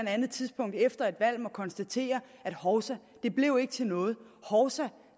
andet tidspunkt efter et valg må konstatere hovsa det blev ikke til noget hovsa